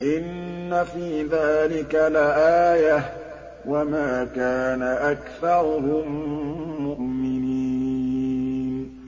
إِنَّ فِي ذَٰلِكَ لَآيَةً ۖ وَمَا كَانَ أَكْثَرُهُم مُّؤْمِنِينَ